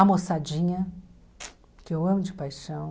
A moçadinha, que eu amo de paixão.